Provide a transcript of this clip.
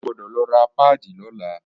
O gbọ́dọ̀ lọ ra páàdì lọ́la!